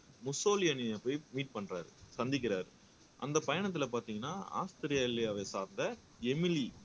முசோலினியை போய் மீட் பண்றாரு சந்திக்கிறார் அந்த பயணத்துல பார்த்தீங்கன்னா ஆஸ்திரேலியாவை சார்ந்த எமிலி